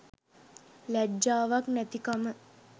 ලැජ්ජාවක් නැතිකම.